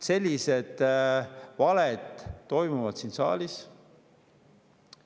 Sellised valed siin saalis.